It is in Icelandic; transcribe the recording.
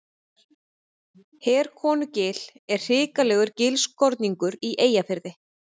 Herkonugil er hrikalegur gilskorningur í Eyjafirði.